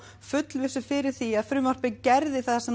fullvissu fyrir því að frumvarpið geri það sem